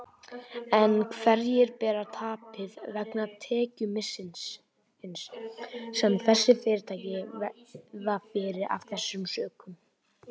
En hverjir bera tapið vegna tekjumissisins sem þessi fyrirtæki verða fyrir af þessum sökum?